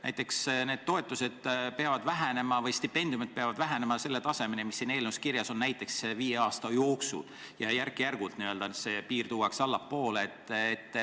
Näiteks et need toetused või stipendiumid peaksid vähenema tasemeni, mis siin eelnõus kirjas on, viie aasta jooksul, et järk-järgult see piir tuuakse allapoole?